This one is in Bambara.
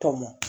Tɔmɔ